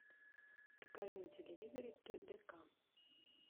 покажи на телевизоре тдк